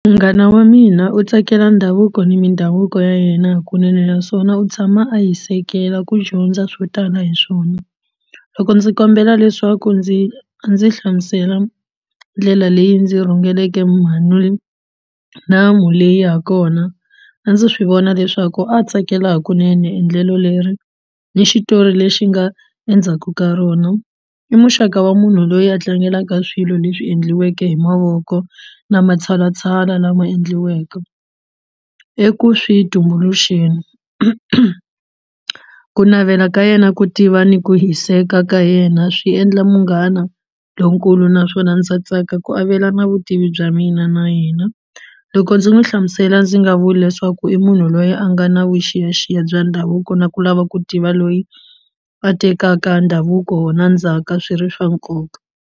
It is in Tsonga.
Munghana wa mina u tsakela ndhavuko ni mindhavuko ya yena hakunene naswona u tshama a hisekela ku dyondza swo tala hi swona loko ndzi kombela leswaku ndzi a ndzi hlamusela ndlela leyi ndzi rhungeleke leyi ha kona a ndzi swi vona leswaku a tsakela hikunene endlelo leri ni xitori lexi nga endzhaku ka rona i muxaka wa munhu loyi a tlangelaka swilo leswi endliweke hi mavoko na matshalatshala lama endliweke eku swi tumbuluxeni ku navela ka yena ku tiva ni ku hiseka ka yena swi endla munghana lonkulu naswona ndza tsaka ku avelana vutivi bya mina na yena loko ndzi n'wi hlamusela ndzi nga vula leswaku i munhu loyi a nga na vuxiyaxiya bya ndhavuko na ku lava ku tiva loyi a tekaka ndhavuko na ndzhaka swi ri swa nkoka.